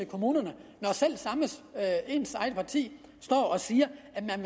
kommunerne når ens eget parti siger